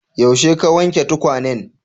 Yaushe ka wanke tukwanen?